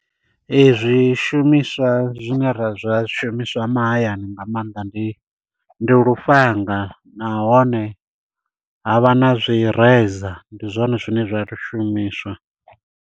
Zwishumiswa zwine ra zwa zwishumiswa mahayani nga maanḓa ndi ndi lufhanga nahone ha vha na zwi razor ndi zwone zwine zwa shumiswa.